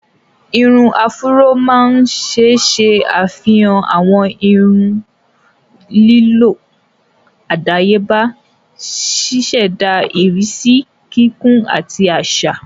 Irun áfúró máa ń ṣe ṣe afihan awọn irun lílọ́ adayeba, ṣiṣẹda irisi kíkún ati aṣa.